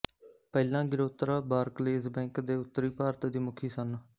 ਪਹਿਲਾਂ Girotra Barclays bank ਦੇ ਉੱਤਰੀ ਭਾਰਤ ਦੀ ਮੁਖੀ ਸਨ